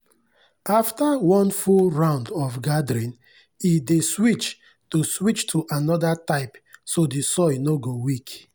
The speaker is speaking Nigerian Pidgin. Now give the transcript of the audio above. after one full round of gathering e dey switch to switch to another type so the soil no go weak.